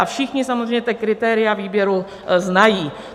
A všichni samozřejmě ta kritéria výběru znají.